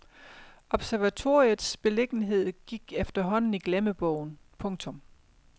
Observatoriets beliggenhed gik efterhånden i glemmebogen. punktum